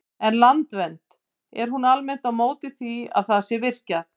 En Landvernd, er hún almennt á móti því að það sé virkjað?